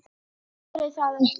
Ég þori það ekki.